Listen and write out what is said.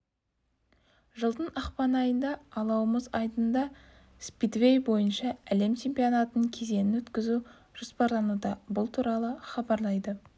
жылдың ақпан айында алау мұз айдынында спидвей бойынша әлем чемпионатының кезеңін өткізу жоспарлануда бұл туралы хабарлайды